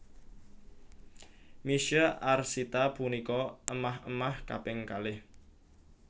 Misye Arsita punika émah émah kaping kalih